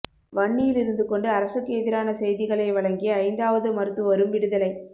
வன்னியில் இருந்துகொண்டு அரசுக்கு எதிரான செய்திகளை வழங்கிய ஐந்தாவது மருத்துவரும் விடுதலை